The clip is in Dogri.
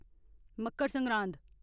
मकर सरगांद